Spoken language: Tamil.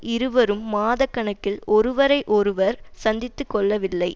இருவரும் மாத கணக்கில் ஒருவரை ஒருவர் சந்தித்து கொள்ளவில்லை